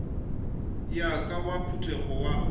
wa ka wa potego go